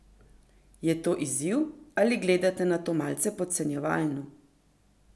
Je to izziv ali gledate na to malce podcenjevalno?